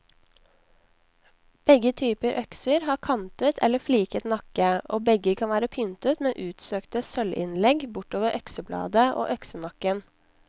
Begge typer økser har kantet eller fliket nakke, og begge kan være pyntet med utsøkte sølvinnlegg bortover øksebladet og øksenakken.